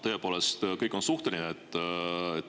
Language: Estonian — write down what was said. Tõepoolest, kõik on suhteline.